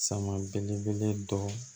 Sama belebele dɔ